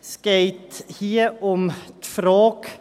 Es geht hier um die Frage: